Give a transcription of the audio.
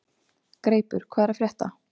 Greipur, hvað er að frétta?